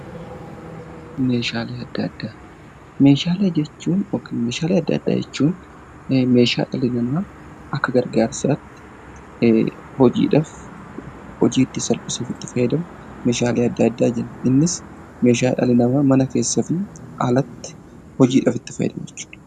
Meeshaalee Adda Addaa: Meeshaalee adda addaa jechuun meeshaa namni akka gargaarsaatti hojiidhaaf, hojii ittiin salphisuuf fayadamu meeshaalee adda addaa jenna. Innis meeshaa dhalli namaa mana keessaa fi alatti hojiidhaaf itti fayyadamu jechuudha.